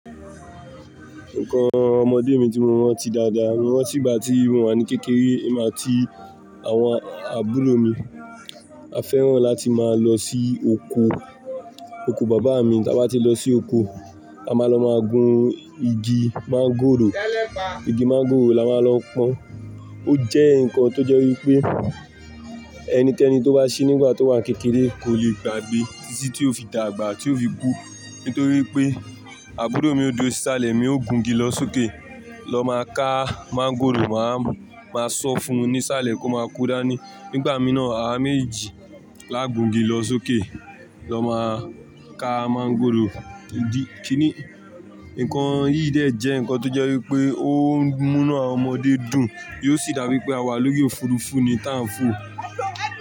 Nǹkan ọmọdé mi tí mo rántí dáadáa, mo rántí ìgbà tí mò wà ní kékeré, èmi àti àwọn àbúrò mi, a fẹ́ràn láti máa lọ sí oko, oko bàbá mi, tí a bá ti lọ sí oko, a máa lọ máa gun igi máńgòrò, igi máńgòrò la máa lọ pọ́n. Ó jẹ́ nǹkan tó jẹ́ wípé ẹni kẹni tó bá ṣí nígbà tó wà ní kékeré kò lè gbàgbé títí tí ó fi dàgbà, tí ó fi kú. Nítorí pé àbúrò mi ó duro si salẹ̀, emi ó gùn gé lọ sókè lọ máa ká máńgòrò, màá, màá sọ fún un ní salẹ̀ kó máa ko dani. Nígbà mí náà, àwa méjì la gùn igi lọ sókè lọ máa ká máńgòrò. Idi, kíni, nǹkan yìí dè jẹ́ nǹkan tó jẹ́ wípé ó ń mú inu awon ọmọdé dùn, yóò sì dàbí pé àwa lórí òfurufú ni tá ń fò.